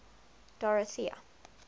dorothea